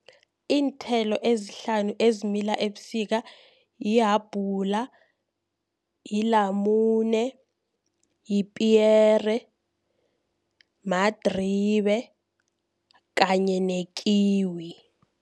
Iinthelo ezihlanu ezimila ebusika lihabhula, lilamune, lipiyere, madribe kanye nekiwi.